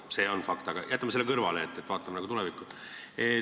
See on fakt, aga jätame selle kõrvale, vaatame tulevikku.